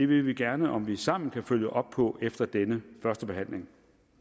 vil vi gerne om vi sammen kan følge op det på efter denne førstebehandling